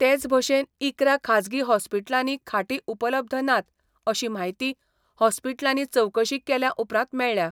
तेच भशेन इकरा खाजगी हॉस्पिटलांनी खाटी उपलब्ध नात अशी म्हायती हॉस्पिटलांनी चवकशी केल्या उपरांत मेळ्ळ्या.